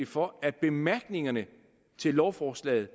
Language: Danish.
for at bemærkningerne til lovforslaget